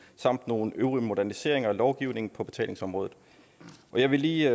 samt nogle øvrige moderniseringer af lovgivningen på betalingsområdet jeg vil lige